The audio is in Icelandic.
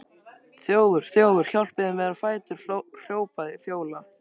Þjófur, þjófur, hjálpið þið mér á fætur, hrópar Fjóla.